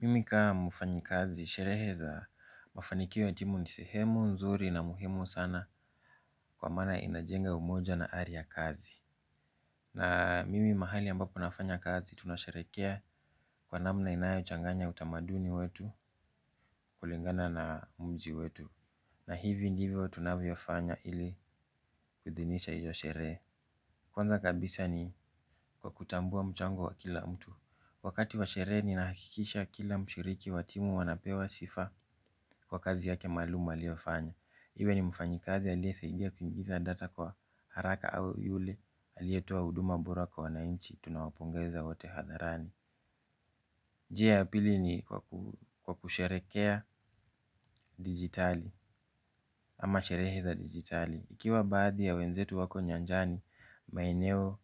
Mimi kama mfanyikazi, sherehe za mafanikio ya timu ni sehemu nzuri na muhimu sana kwa maana inajenga umoja na ari ya kazi. Na mimi mahali ambapo nafanya kazi tunasherekea kwa namna inayo changanya utamaduni wetu kulingana na mji wetu. Na hivi ndivyo tunavyofanya ili kuhidhinisha hiyo sherehe. Kwanza kabisa ni kwa kutambua mchango wa kila mtu. Wakati wa sherehe ninakikisha kila mshiriki wa timu anapewa sifa kwa kazi yake maalum aliofanya. Iwe ni mfanyikazi aliyesaidia kuingiza data kwa haraka au yule aliyetoa huduma bora kwa wananchi tunawapongeza wate hadharani. Njia ya pili ni kwa kusherekea digitali ama sherehe za digital. Ikiwa baadhi ya wenzetu wako nyanjani, maeneo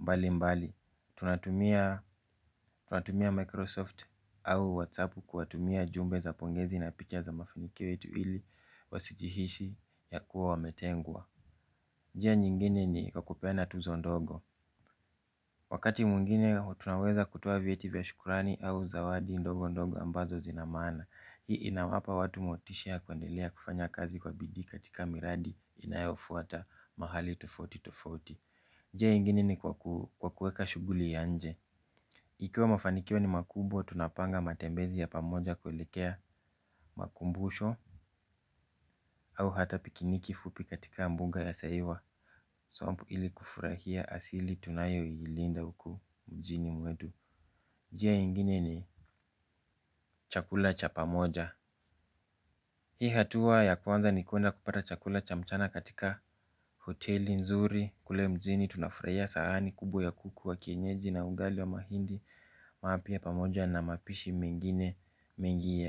mbali mbali, tunatumia tunatumia Microsoft au WhatsApp kuwatumia jumbe za pongezi na picha za mafanikio yetu ili wasijihishi ya kuwa wametengwa. Njia nyingine ni kwa kupeana tuzo ndogo. Wakati mwngine, tunaweza kutoa vyeti vya shukurani au zawadi ndogo ndogo ambazo zina maana. Hii inawapa watu motisha kuendelea kufanya kazi kwa bidii katika miradi inayofuata mahali tofauti tofauti. Njia ingine ni kwa kuweka shughuli ya nje. Ikiwa mafanikio ni makubwa tunapanga matembezi ya pamoja kuelekea makumbusho, au hata pikiniki fupi katika mbunga ya seiwa. Swamp, ili kufurahia asili tunayoilinda huku mjini mwetu. Njia ingine ni chakula cha pamoja. Hii hatua ya kwanza ni kwenda kupata chakula cha mchana katika hoteli nzuri kule mjini tunafurahia sahani kubwa ya kuku wa kienyeji na ugali wa mahindi mapya pamoja na mapishi mengine mengi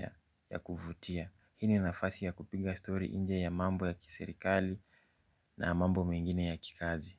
ya kuvutia. Hii ni nafasi ya kupinga story nje ya mambo ya kiserikali na mambo mingine ya kikazi.